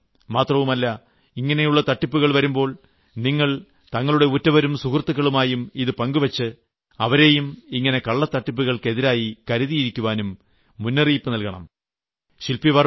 കരുതിയിരിക്കണം മാത്രവുമല്ല ഇങ്ങനെയുളള തട്ടിപ്പുകൾ വരുമ്പോൾ നിങ്ങൾ നിങ്ങളുടെ ഉറ്റവരും സുഹൃത്തുകളുമായും ഇത് പങ്ക് വച്ച് അവരെയും ഇത്തരം തട്ടിപ്പുകൾക്കെതിരെ കരുതിയിരിക്കാനും മുന്നറിയിപ്പും നൽകണം